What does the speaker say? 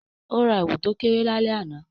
O ra èwù to kéré lálẹ́ àná